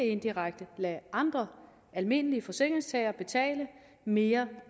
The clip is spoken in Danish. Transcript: indirekte at lade andre almindelige forsikringstagere betale mere